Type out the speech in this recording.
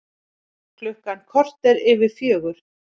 Klukkan korter yfir fjögur